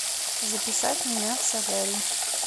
записать меня в солярий